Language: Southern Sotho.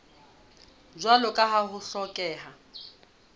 jwalo ka ha ho hlokeha